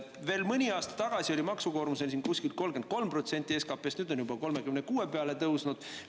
Veel mõni aasta tagasi oli meil maksukoormus kuskil 33% SKP-st, nüüd on juba 36% peale tõusnud.